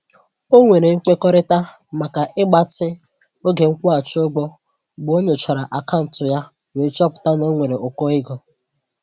O nwere nkwekọrịta maka ịgbatị oge nkwụghachị ụgwọ mgbe ọ nyochara akaụntụ ya wee chọpụta na o nwere ụkọ ego.